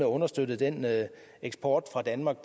understøtte den eksport fra danmark